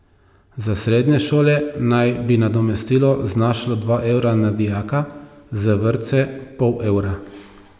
Za srednje šole naj bi nadomestilo znašalo dva evra na dijaka, za vrtce pol evra.